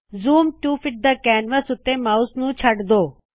zoom to fit the canvas ਉੱਤੇ mouse ਨੂ ਛੱਡ ਦੋ